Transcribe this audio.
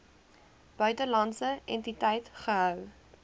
buitelandse entiteit gehou